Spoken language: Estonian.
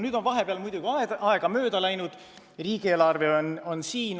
Vahepeal on muidugi aega mööda läinud ja riigieelarve on siin.